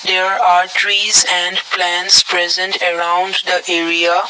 there are trees and plants present around the area.